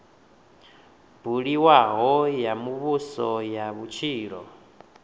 buliwaho ya muvhuso ya vhutshilo